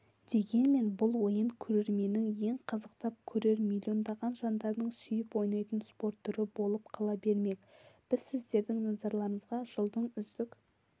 дегенмен бұл ойын көрерменнің ең қызықтап көрер миллиондаған жандардың сүйіп ойнайтын спорт түрі болып қала бермек біз сіздердің назарларыңызға жылдың үздік